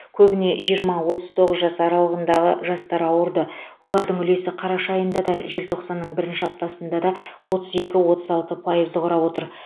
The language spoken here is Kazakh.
көбіне жиырма отыз тоғыз жас аралығындағы жастар ауырды олардың үлесі қараша айында да желтоқсанның бірінші аптасында да отыз екі отыз алты пайызды құрапотыр